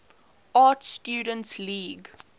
art students league